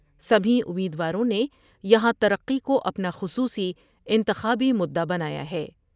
سبھی امیدواروں نے یہاں ترقی کو اپنا خصوصی انتخابی مدا بنایا ہے ۔